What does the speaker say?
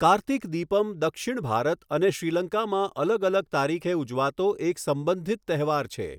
કાર્તિક દીપમ દક્ષિણ ભારત અને શ્રીલંકામાં અલગ અલગ તારીખે ઉજવાતો એક સંબંધિત તહેવાર છે.